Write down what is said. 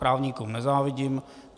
Právníkům nezávidím.